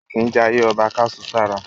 A kìí jayé ọba ká su sára.